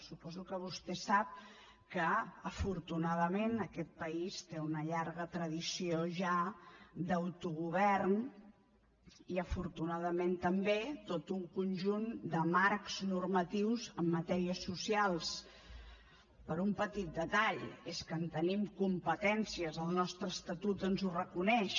suposo que vostè sap que afortunadament aquest país té una llarga tradició ja d’autogovern i afortunadament també tot un conjunt de marcs normatius en matèries socials per un petit detall és que en tenim competències el nostre estatut ens ho reconeix